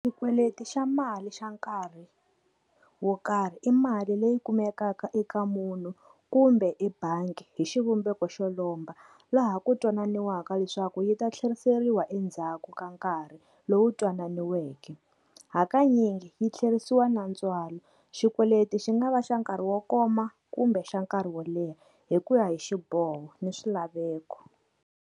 Xikweleti xa mali xa nkarhi wo karhi, i mali leyi kumekaka eka munhu kumbe ebangi hi xivumbeko xo lomba laha ku twananiweke leswaku yi ta tlheriseriwa endzhaku ka nkarhi lowu twananiweke. Hakanyingi yi tlherisiwa na ntswalo, xikweleti xi nga va xa nkarhi wo koma kumbe xa nkarhi wo leha hi ku ya hi xiboho ni swilaveko.